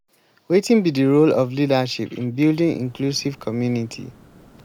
wetin be di role of leadership in building inclusive community?